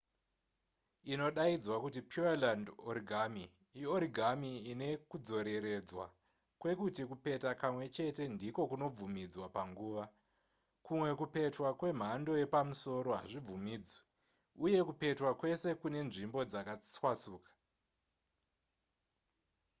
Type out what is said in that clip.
inodaidzwa kuti pureland origami iorigami ine kudzoreredzwa kwekuti kupeta kamwechete ndiko kunobvumidzwa panguva kumwe kupetwa kwemhando yepamusoro hazvibvumidzwe uye kupetwa kwese kune nzvimbo dzakatwasuka